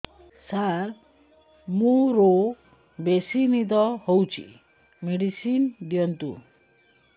ସାର ମୋରୋ ବେସି ନିଦ ହଉଚି ମେଡିସିନ ଦିଅନ୍ତୁ